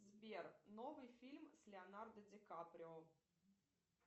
сбер новый фильм с леонардо ди каприо